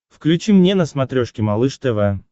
включи мне на смотрешке малыш тв